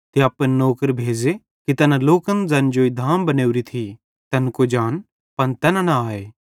ते अपने नौकर भेज़े कि तैना लोकन ज़ैन जेई ड्लाएरी धाम बनोरी थी तैन कुजान पन तैना न आए